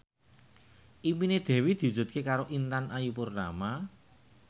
impine Dewi diwujudke karo Intan Ayu Purnama